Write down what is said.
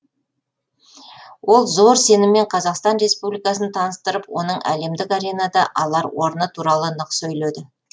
ол зор сеніммен қазақстан республикасын таныстырып оның әлемдік аренада алар орны туралы нық сөйледі